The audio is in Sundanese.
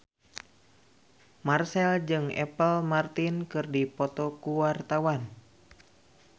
Marchell jeung Apple Martin keur dipoto ku wartawan